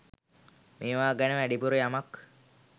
මේවා ගැන වැඩිපුර යමක්.